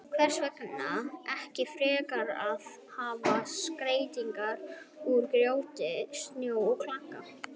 Hvers vegna ekki frekar að hafa skreytingar úr grjóti, snjó og klaka?